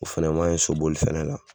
O fɛnɛ man ɲi soboli fɛnɛ la.